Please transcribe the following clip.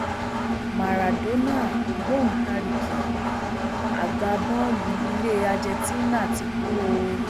máràdónà ògbóǹtarìgì agbábọọlù ilẹ argentina ti kú o